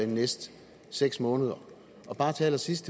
de næste seks måneder og til allersidst